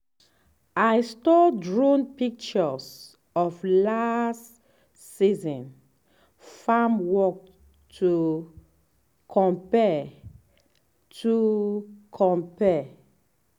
i store drone pictures of last season farm work to compare to compare.